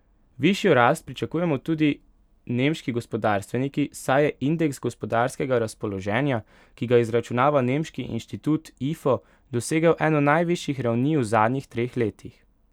Višjo rast pričakujejo tudi nemški gospodarstveniki, saj je indeks gospodarskega razpoloženja, ki ga izračunava nemški inštitut Ifo, dosegel eno najvišjih ravni v zadnjih treh letih.